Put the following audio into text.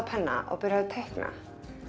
penna og byrjar að teikna